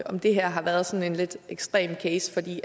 om det her har været sådan en lidt ekstrem case fordi